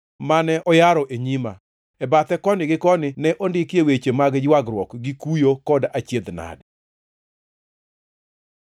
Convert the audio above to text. mane oyaro e nyima. E bathe koni gi koni ne ondikie weche mag ywagruok gi kuyo kod achiedh-nade.